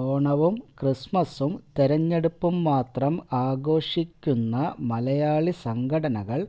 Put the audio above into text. ഓണവും ക്രിസ്മസും തിരഞ്ഞെടുപ്പും മാത്രം ആഘോഷിക്കുന്ന മലയാളി സംഘടനകൾ